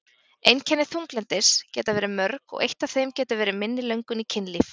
Einkenni þunglyndis geta verið mörg og eitt af þeim getur verið minni löngun í kynlíf.